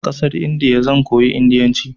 A ƙasar Indiya zan koyi indiyanci.